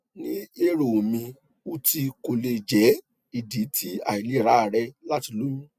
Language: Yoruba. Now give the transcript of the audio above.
ni ero mi uti ko le jẹ idi ti ailera rẹ lati loyun